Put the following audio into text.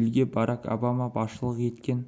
елге барак обама басшылық еткен